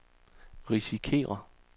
risikerer